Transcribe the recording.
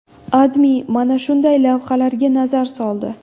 AdMe mana shunday lavhalarga nazar soldi.